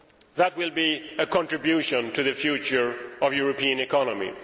That will be a contribution to the future of European economy.